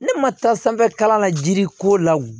Ne ma taa sanfɛ kalan na jiri ko la wo